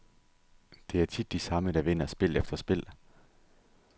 Det er tit de samme, der vinder spil efter spil.